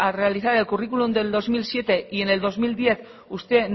realizar el curriculum del dos mil siete y en el dos mil diez usted